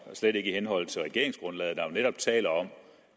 det slet ikke i henhold til regeringsgrundlaget der jo netop taler om